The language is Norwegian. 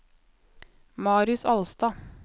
Marius Alstad